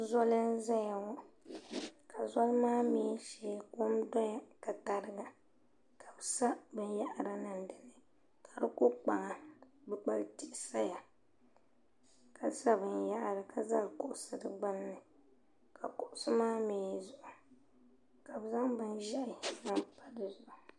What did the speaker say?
Zɔli n zaya ŋɔ ka zɔli maa mi shee kɔm dɔya ka ka tariga ka bi sa bin yahiri niŋ dini ka di kɔ kpaŋa kpukpali tihi saya ka sa bin yahiri ka zali kuɣusi di gbunni ka kuɣusi maa mi zuɣu ka bi zaŋ bin ʒiɛhi n zaŋ pa di zuɣu.